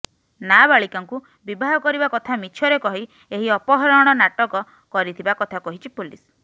ନାବାଳିକାଙ୍କୁ ବିବାହ କରିବା କଥା ମିଛରେ କହି ଏହି ଅପହରଣ ନାଟକ କରିଥିବା କଥା କହିଛି ପୋଲିସ